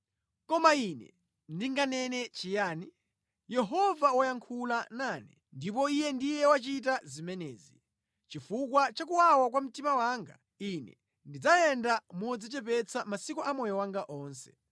Koma ine ndinganene chiyani? Yehova wayankhula nane, ndipo Iye ndiye wachita zimenezi. Chifukwa cha kuwawa kwa mtima wanga, ine ndidzayenda modzichepetsa masiku amoyo wanga onse.